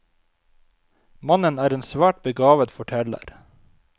Mannen er en svært begavet forteller.